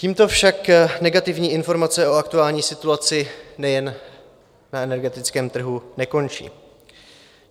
Tímto však negativní informace o aktuální situaci nejen na energetickém trhu nekončí.